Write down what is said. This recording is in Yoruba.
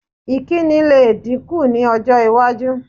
Ìkíni lè dínkù ní ọj́-iwájú.